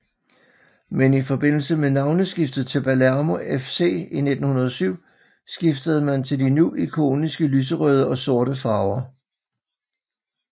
Men i forbindelse med navneskiftet til Palermo FC i 1907 skiftede man til de nu ikoniske lyserøde og sorte farver